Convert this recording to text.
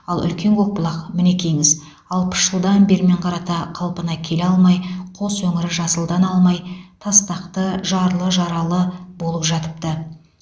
ал үлкен көкбұлақ мінекейіңіз алпыс жылдан бермен қарата қалпына келе алмай қос өңірі жасылдана алмай тастақты жарлы жаралы болып жатыпты